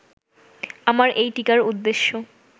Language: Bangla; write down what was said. আমার এই টীকার উদ্দেশ্য